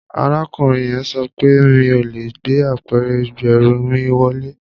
Arákùnrin yẹn sọ pé mi ò lè gbé apẹ̀rẹ̀ ìgbẹ́rù mi wọlé